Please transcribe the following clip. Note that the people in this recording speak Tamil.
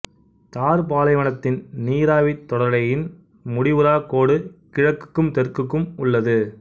தார் பாலைவனத்தின் நீராவித் தொடரலையின் முடிவுறாக் கோடு கிழக்குக்கும் தெற்குக்கும் உள்ளது